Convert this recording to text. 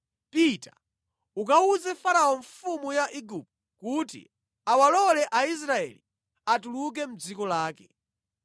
“Pita ukawuze Farao mfumu ya Igupto kuti awalole Aisraeli atuluke mʼdziko lake.”